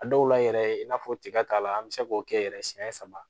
A dɔw la yɛrɛ i n'a fɔ tiga ta la an bɛ se k'o kɛ yɛrɛ siɲɛ saba